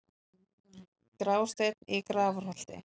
Grásteinn í Grafarholti